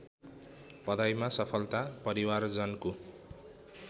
पढाइमा सफलता परिवारजनको